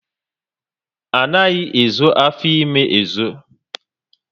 Anaghị ezo afọ ímé ezo